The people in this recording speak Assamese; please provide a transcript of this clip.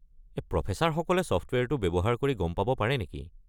প্ৰফেছাৰসকলে ছফ্টৱেৰটো ব্যৱহাৰ কৰি গম পাব পাৰে নেকি?